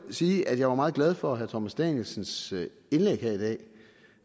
sige at jeg var meget glad for herre thomas danielsens indlæg her i dag